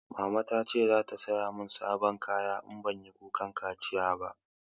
Mama ta ce za ta saya mun sabon kaya in banyi kukan kaciya ba